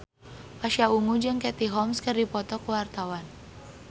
Pasha Ungu jeung Katie Holmes keur dipoto ku wartawan